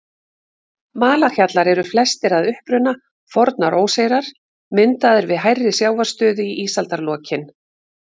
Malarhjallar eru flestir að uppruna fornar óseyrar, myndaðir við hærri sjávarstöðu í ísaldarlokin.